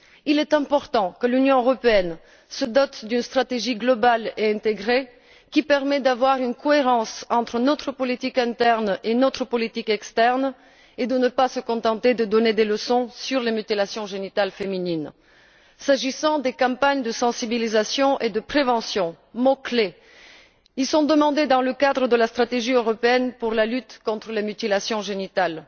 Il est important que l'Union européenne se dote d'une stratégie globale et intégrée qui permette d'avoir une cohérence entre notre politique interne et notre politique externe et de ne pas se contenter de donner des leçons sur les mutilations génitales féminines. S'agissant des campagnes de sensibilisation et de prévention, mots clés, elles sont demandées dans le cadre de la stratégie européenne pour la lutte contre les mutilations génitales.